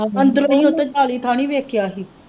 ਅੰਦਰ ਇਹ ਨਹੀਂ ਵੇਖਿਆ ਹੀ।